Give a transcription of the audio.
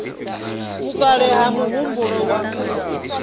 vhukale na muhumbulo wa u